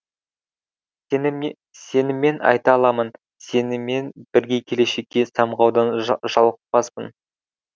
сеніммен айта аламын сенімен біргекелешекке самғаудан жалықпасын